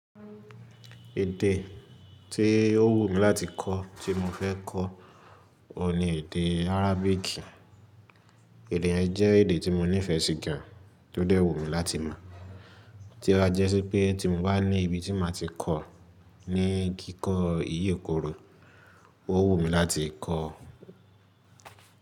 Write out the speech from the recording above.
Èdè tí ó wù mí láti kọ́ tí mo fẹ́ kọ́, òun ni èdè Arabic. Èdè yẹn jẹ́ èdè tí mo nífẹ̀ẹ́ sí gan, tó dẹ́ wù mi láti mọ̀. Tí ó bá jẹ́ sí pé tí mo bá ní ibi tí màá ti kọ́ ní kíkọ iyekooro, ó wù mí láti kọ́